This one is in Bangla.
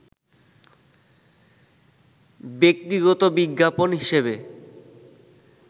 ব্যক্তিগত বিজ্ঞাপন হিসেবে